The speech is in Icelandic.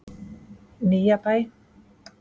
Nýjabæ